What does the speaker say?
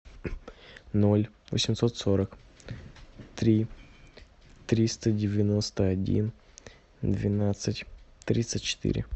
ноль восемьсот сорок три триста девяносто один двенадцать тридцать четыре